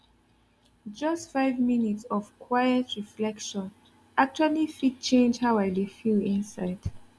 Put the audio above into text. just five minutes of quiet of quiet reflection actually fit change how i dey feel inside